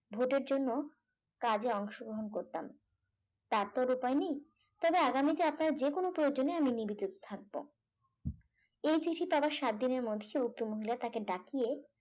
ভোটের জন্য কাজে অংশগ্রহণ করতাম তার তো আর উপায় নেই তবে আগামীতে আপনার যে কোন প্রয়োজনে আমি নিবেদি থাকবো এই চিঠি পাওয়ার সাত দিনের মধ্যে উক্ত মহিলা তাকে ডাকিয়ে